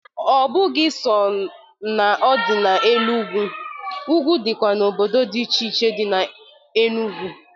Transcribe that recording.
Ọbụghị so na ọ dị na elu ugwu, ugwu dịkwa n'obodo dị iche iche dị n'Enugu.